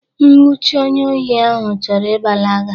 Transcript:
Nwuchie onye ohi ahụ chọrọ ịgbalaga.!